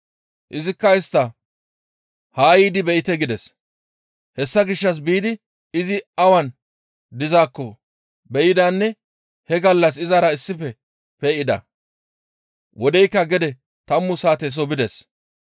Izikka istta, «Haa yiidi be7ite» gides; hessa gishshas biidi izi awan dizaakko be7idanne he gallas izara issife pe7ida; wodeykka gede tammu saateso bides.